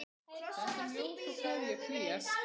Sendum ljós og kveðjur hlýjar.